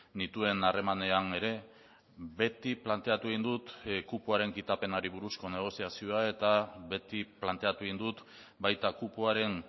nituen harremanean ere beti planteatu egin dut kupoaren kitapenari buruzko negoziazioa eta beti planteatu egin dut baita kupoaren